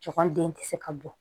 Cɔkanden tɛ se ka bɔ